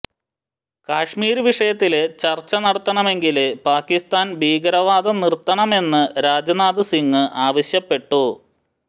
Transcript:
കശ്മീര് വിഷയത്തില് ചര്ച്ച നടത്തണമെങ്കില് പാക്കിസ്ഥാന് ഭീകരവാദം നിര്ത്തണമെന്ന് രാജ്നാഥ് സിങ് ആവശ്യപ്പെട്ടു